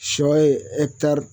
Sɔ ye